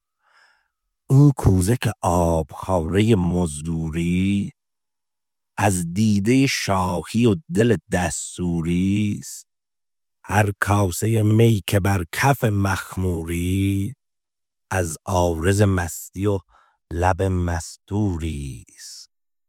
این کوزه که آبخواره مزدوری ست از دیده شاهی و دل دستوری ست هر کاسه می که بر کف مخموری ست از عارض مستی و لب مستوری ست